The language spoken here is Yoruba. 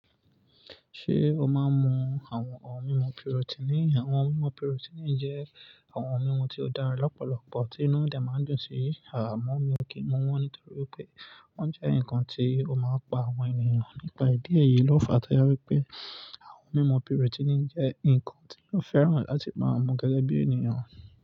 Ṣé o máa ń mu àwọn ohun mímu protein? Àwọn ohun mímu protein jẹ́ àwọn ohun mímu tí ó dára lọ́pọ̀lọpọ̀, tí inú oúnjẹ máa ń dùn sí. Àmó mi ò kí n mu wọ́n, nítorí pé wọ́n jẹ́ nǹkan tí ó máa ń pa àwọn ènìyàn. Nípa ìdí èyí, lọ fà tọ́ri pé àwọn mímu protein jẹ́ nǹkan tí ó fẹ́ràn láti máa mu gẹ́gẹ́ bí ènìyàn.